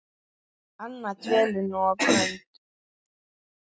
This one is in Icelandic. Anna dvelur nú á Grund.